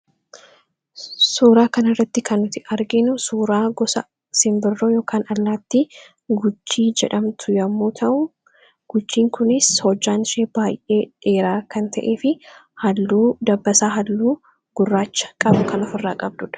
suuraa kana irratti kannuti arginu suuraa gosa sinbirroo yk allaatti gujjii jedhamtu yommuu ta'u gujjiin kunis hojaan shee baay'ee dheeraa kan ta'ee fi halluu dabbasaa halluu gurraacha qabu kan of irraa qabduudha